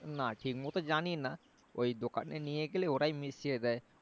না ঠিক মতো জানিনা ওই দোকানে নিয়ে গেলে ওরাই মিশিয়ে দেয়